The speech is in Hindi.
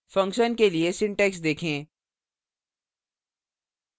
function के लिए syntax देखें